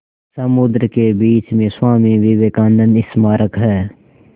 समुद्र के बीच में स्वामी विवेकानंद स्मारक है